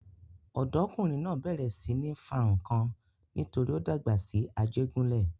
Ọ̀dọ́kùnrin náà bẹ̀rẹ̀ sí ní fa nǹkan nítorí ó dàgbà ní Ajégúnlẹ̀.